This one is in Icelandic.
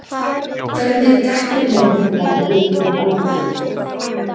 Hvernig dettur mönnum þetta í hug í alvöru talað?